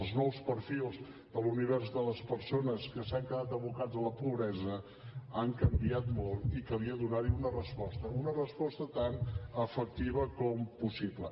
els nous perfils de l’univers de les persones que s’han quedat abocats a la pobresa han canviat molt i calia donar hi una resposta una resposta tan efectiva com possible